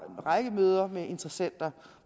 række møder med interessenter